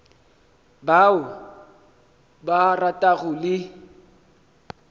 ba o ba ratago le